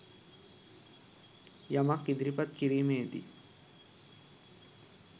යමක් ඉදිරිපත් කිරීමේ දී